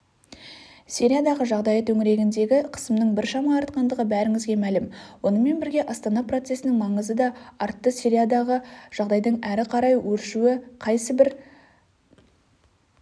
сириядағы жағдай төңірегіндегі қысымның біршама артқандығы бәріңізге мәлім онымен бірге астана процесінің маңызы да артты сириядағы жағдайдың әрі қарай өршуі қайсыбір